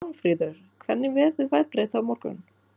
Pálmfríður, hvernig verður veðrið á morgun?